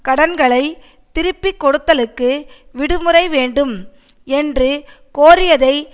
கடன்களை திருப்பி கொடுத்தலுக்கு விடுமுறை வேண்டும் என்று கோரியதை